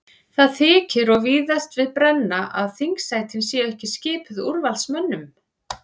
Það þykir og víðast við brenna að þingsætin séu ekki skipuð úrvalsmönnum.